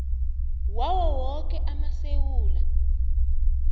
wawo woke amasewula